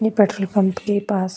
ने petrol pump के पास।